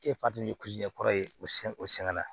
E kɔrɔ ye o siyɛn o siyɛn la